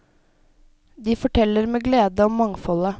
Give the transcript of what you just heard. De forteller med glede om mangfoldet.